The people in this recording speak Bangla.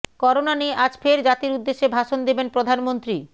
করোনা নিয়ে আজ ফের জাতির উদ্দেশে ভাষণ দেবেন প্রধানমন্ত্রী